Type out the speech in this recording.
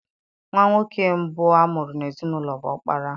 Nwa nwoke mbụ a mụrụ n'ezinaụlọ bụ ọkpara.